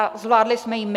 A zvládli jsme ji my.